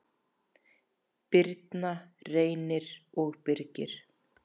Birna, Reynir og Birgir.